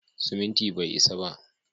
Siminti bai isa ba.